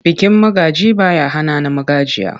Bikin magaji ba ya hana na magajiya.